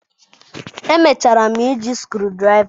Emechara m iji screwdriver.